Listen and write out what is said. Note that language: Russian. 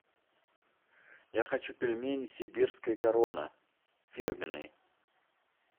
я хочу пельмени сибирская корона фирменные